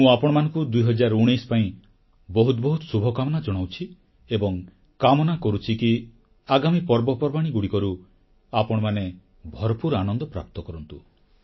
ମୁଁ ଆପଣମାନଙ୍କୁ 2019 ପାଇଁ ବହୁତ ବହୁତ ଶୁଭକାମନା ଜଣାଉଛି ଏବଂ କାମନା କରୁଛି କି ଆଗାମୀ ପର୍ବପର୍ବାଣୀଗୁଡ଼ିକରୁ ଆପଣମାନେ ଭରପୁର ଆନନ୍ଦପ୍ରାପ୍ତ କରନ୍ତୁ